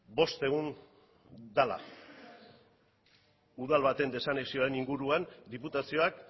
bost egun dela udal baten desanexioaren inguruan diputazioak